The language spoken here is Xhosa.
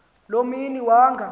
loo mini wanga